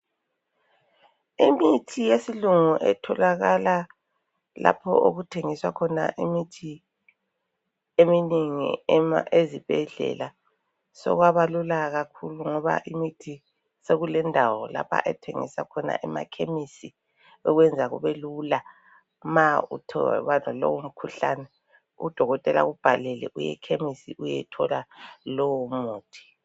Imithi yesilungu etholakala lapho okuthengiswa imithi eminengi ezibhedlela, sokwabalula kakhulu ngoba imithi sokulendawo lapho ethengiswa khona emakhememisi, okwenza kube lula ma uthe waba lalowo mkhuhlane udokotela akubhalele uye khemisi uyethola lowo muthi.